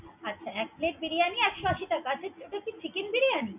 আচ্ছা এক plate বিরিয়ানী একশো টা। আচ্ছা এটা কি chicken বিরিয়ানী?